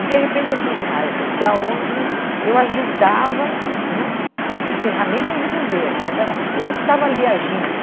E, de repente, eu fui para uma área social onde eu ajudava, não com ferramentas do governo, mas era eu que estava ali agindo.